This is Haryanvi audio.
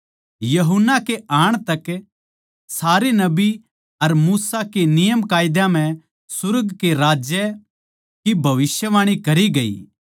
यूहन्ना के आण तक सारे नबी अर मूसा के नियमकायदे नै सुर्ग के राज्य की भविष्यवाणी करी थी